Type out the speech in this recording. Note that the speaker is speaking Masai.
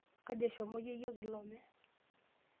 Kaji eshomo yeyio kilome?